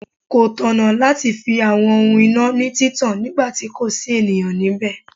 Kò tọ̀nà láti fi àwọn ohun iná ní títàn nígbà tí kò sí ènìyàn nibẹ.